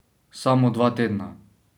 Samo dva tedna.